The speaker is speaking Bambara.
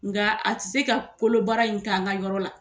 Nga a te se ka kolo baara in kɛ an ka yɔrɔ la.